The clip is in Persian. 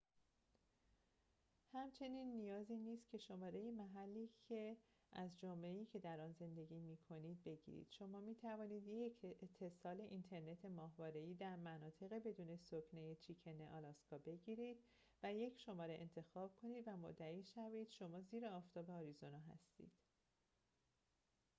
همچنین نیازی نیست که شماره محلی از جامعه‌ای که در آن زندگی می‌کنید بگیرید شما می‌توانید یک اتصال اینترنت ماهواره‌ای در مناطق بدون سکنه چیکن آلاسکا بگیرید و یک شماره انتخاب کنید و مدعی شوید شما زیر آفتاب آریزونا هستید